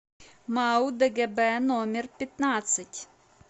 мау дгб номер пятнадцать